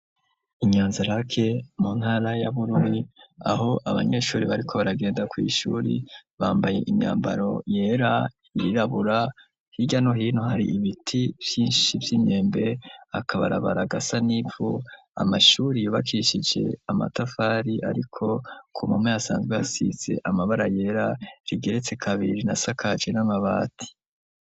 Inyanzarake mu ntara ya bururi aho abanyeshuri bariko baragenda kw’ ishuri bambaye imyambaro yera ,yirabura hirya no hino hari ibiti vyinshi vy’imyembe ,akabarabara gasa n’ivu ,amashuri yubakishije amatafari ariko ku mpome hasanzwe hasize amabara yera ,rigeretse kabiri na sakaje n'amabati.